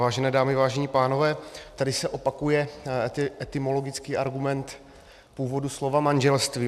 Vážené dámy, vážení pánové, tady se opakuje etymologický argument původu slova manželství.